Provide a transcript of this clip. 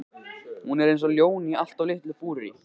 Hún er eins og ljón í allt of litlu búri!